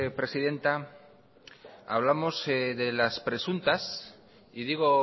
presidenta hablamos de las presuntas y digo